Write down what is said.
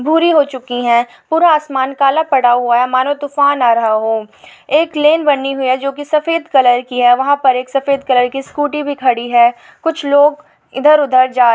हो चुकी है पूरा आसमान काला पड़ा हुआ है मानो तूफ़ान आ रहा हो एक लेन बनी हुई है जो की सफ़ेद कलर की है वहा पर एक सफ़ेद कलर की स्कूटी भी खड़ी है कुछ लोग इधर उधर जा--